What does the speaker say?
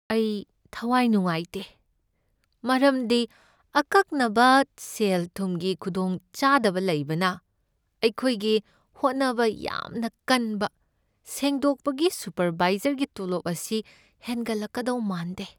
ꯑꯩ ꯊꯥꯋꯥꯏ ꯅꯨꯡꯉꯥꯏꯇꯦ ꯃꯔꯝꯗꯤ ꯑꯀꯛꯅꯕ ꯁꯦꯜ ꯊꯨꯝꯒꯤ ꯈꯨꯗꯣꯡꯆꯥꯗꯕ ꯂꯩꯕꯅ ꯑꯩꯈꯣꯏꯒꯤ ꯍꯣꯠꯅꯕ ꯌꯥꯝꯅ ꯀꯟꯕ ꯁꯦꯗꯣꯛꯄꯒꯤ ꯁꯨꯄꯔꯚꯥꯏꯖꯔꯒꯤ ꯇꯣꯂꯣꯞ ꯑꯁꯤ ꯍꯦꯟꯒꯠꯂꯛꯀꯗꯧ ꯃꯥꯟꯗꯦ꯫